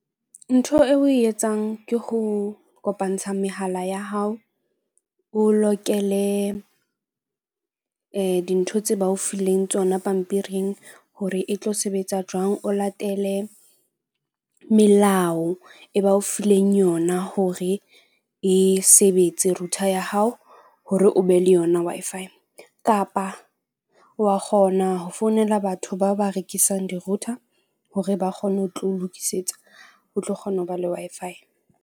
Ntho eo o e etsang ke ho kopantsha mehala ya hao. O lokele dintho tse ba o fileng tsona pampiring hore e tlo sebetsa jwang. O latele melao e ba o fileng yona hore e sebetse router ya hao hore o be le yona Wi-Fi kapa wa kgona ho founela batho bao ba rekisang di-router hore ba kgone ho tlo lokisetsa, o tlo kgona ho ba le Wi-Fi.